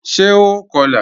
Ṣé ó kọ́lá?